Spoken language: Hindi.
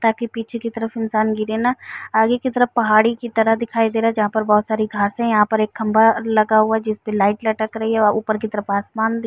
ताकि पीछे की तरफ इंसान गिरे ना। आगे की तरफ पहाड़ी की तरह दिखाई दे रहा है। जहाँ पर बहोत सारी घासे हैं। यहाँ पर एक खंभा लगा हुआ है जिसपे लाइट लटक रही है और ऊपर की तरफ आसमान दिख --